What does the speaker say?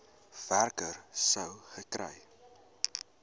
werker sou gekry